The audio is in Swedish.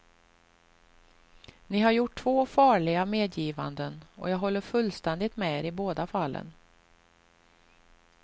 Ni har gjort två farliga medgivanden, och jag håller fullständigt med er i båda fallen.